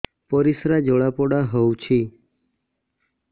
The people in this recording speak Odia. ପରିସ୍ରା ଜଳାପୋଡା ହଉଛି